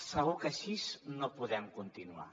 segur que així no podem continuar